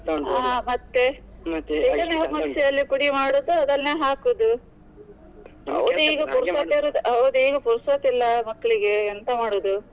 ಆ ಮತ್ತೆ ಪುಡಿ ಮಾಡುದು ಅದನ್ನೇ ಹಾಕುದು. ಪುರ್ಸೊತ್ ಇರುದು ಹೌದು ಈಗ ಪುರ್ಸೊತ್ ಇಲ್ಲ ಮಕ್ಳಿಗೆ ಎಂತ ಮಾಡುದು.